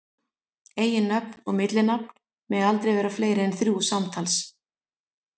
Eiginnöfn og millinafn mega aldrei vera fleiri en þrjú samtals.